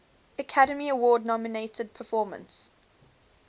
academy award nominated performance